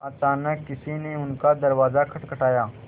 अचानक किसी ने उनका दरवाज़ा खटखटाया